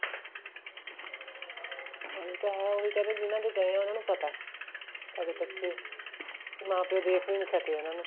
ਉਹੀ ਤਾਂ ਹੈ ਉਹ ਕਹਿ ਰਹੇ ਏ ਜਿਹਨਾ ਦੇ ਗਏ ਹੈ ਉਹਨਾ ਨੂੰ ਪਤਾ ਹੈ ਸਾਡੇ ਬੱਚੇ ਮਾਂ ਪਿਓ ਦੇਖ ਵੀ ਸਕੇ ਉਹਨਾ ਨੂੰ